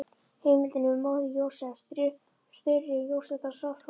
Heimildin er móðir Jósefs, Þuríður Jónsdóttir á Svarfhóli.